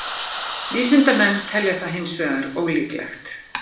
Vísindamenn telja það hins vegar ólíklegt.